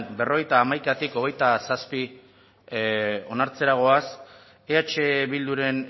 berrogeita hamaikatik hogeita zazpi onartzera goaz eh bilduren